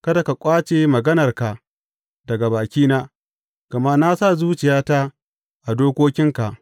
Kada ka ƙwace maganarka daga bakina, gama na sa zuciyata a dokokinka.